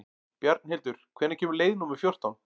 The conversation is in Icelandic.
Bjarnhildur, hvenær kemur leið númer fjórtán?